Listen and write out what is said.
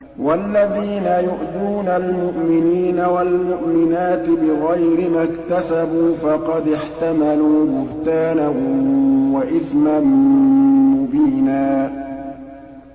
وَالَّذِينَ يُؤْذُونَ الْمُؤْمِنِينَ وَالْمُؤْمِنَاتِ بِغَيْرِ مَا اكْتَسَبُوا فَقَدِ احْتَمَلُوا بُهْتَانًا وَإِثْمًا مُّبِينًا